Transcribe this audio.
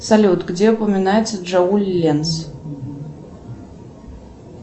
салют где упоминается джоуль ленц